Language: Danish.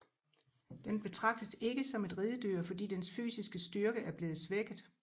Den betragtes ikke som et ridedyr fordi dens fysiske styrke er blevet svækket